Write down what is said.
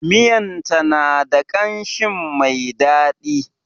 Miyar ta na da ƙamshin mai dadi.